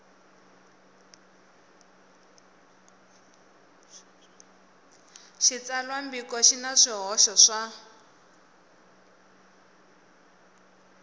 xitsalwambiko xi na swihoxo swa